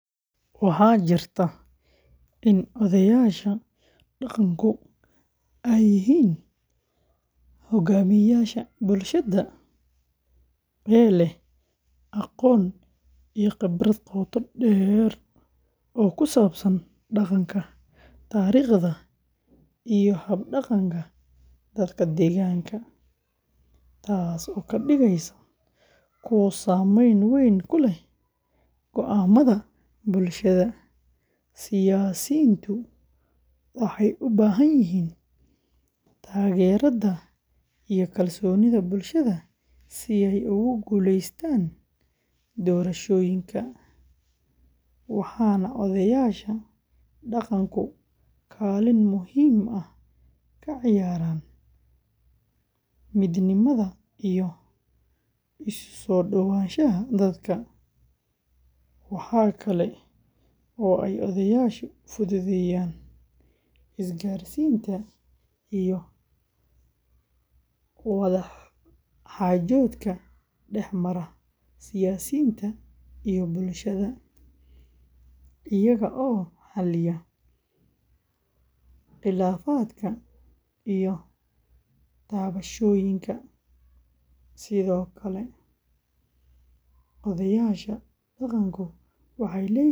Waxa jirta in odhayasha dhaqankodha ay yihin hogamiyasha bulshada aya leh aqoon iyo khibrad qota deer oo kusabsan dhaqanka, tariqda iyo hab dhaqanka dadka deeganka. Taaso kadigeysa kuwa sameyn wein kuleh goamadha bulshada siyasintu waxay ubahanyihin tageerado iyo kalsonidha bulshadha si ugu guleystan doorashoyinka waxana odhayasho dhaqanku kalin muhim ah kaciyaran midnimadha iyo isusodawashaha dadka. Waxa kale oo ay odhayasha fudhudheyan isgarsinta iyo wadha xajodka dexmara siyasinta iyo bulshadha iyago xaliyo khilafadka iyo daabashoyinka. Sidhokale odhayasha dhaqankodha waxay leyihin.